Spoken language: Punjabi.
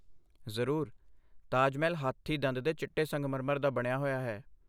ਜ਼ਰੂਰ। ਤਾਜ ਮਹਿਲ ਹਾਥੀ ਦੰਦ ਦੇ ਚਿੱਟੇ ਸੰਗਮਰਮਰ ਦਾ ਬਣਿਆ ਹੋਇਆ ਹੈ।